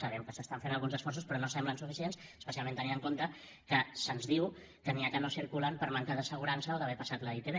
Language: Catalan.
sabem que s’estan fent alguns esforços però no semblen suficients especialment tenint en compte que se’ns diu que n’hi ha que no circulen per manca d’assegurança o d’haver passat la itv